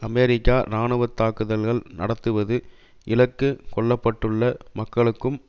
அமெரிக்க இராணுவ தாக்குதல்கள் நடத்துவது இலக்கு கொள்ள பட்டுள்ள மக்களுக்கும்